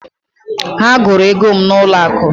Ha gụrụ ego m n'ụlọ akụ.